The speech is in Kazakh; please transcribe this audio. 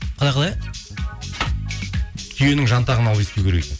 қалай қалай түйенің жантағын алып иіскеу керек екен